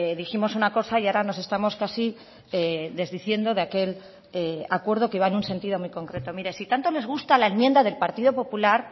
dijimos una cosa y ahora nos estamos casi desdiciendo de aquel acuerdo que iba en un sentido muy concreto mire si tanto les gusta la enmienda del partido popular